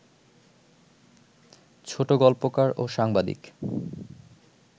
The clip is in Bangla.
ছোটগল্পকার ও সাংবাদিক